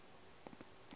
ba a gowa ge be